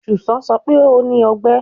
Susan sọ pe o ni ọgbẹ